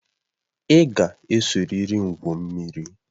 Ị ga esoriri m gwuo mmiri